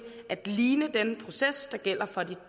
at ligne den proces der gælder for de